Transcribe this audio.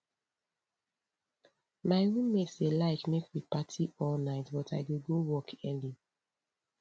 my roommate dey like make we party all night but i dey go work early